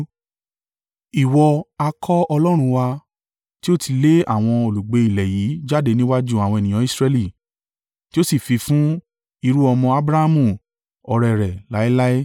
Ìwọ ha kọ́ Ọlọ́run wa, tí o ti lé àwọn olùgbé ilẹ̀ yìí jáde níwájú àwọn ènìyàn Israẹli, tí o sì fi fún irú-ọmọ Abrahamu ọ̀rẹ́ rẹ láéláé?